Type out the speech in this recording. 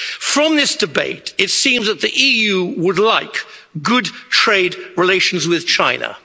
From this debate, it seems that the EU would like good trade relations with China.